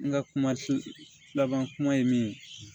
N ka kuma laban kuma ye min ye